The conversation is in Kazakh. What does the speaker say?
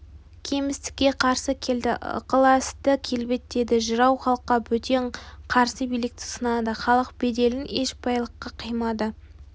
кемістікке қарсы келді ықыласты келбеттеді жырау халыққа бөтен қарсы билікті сынады халық беделін еш байлыққа қимады